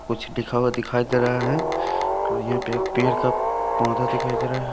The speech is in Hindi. कुछ लिखा हुआ दिखाई दे रहा है और यहाँ पे एक पेड़ का पौधा दिखाई दे रहा है।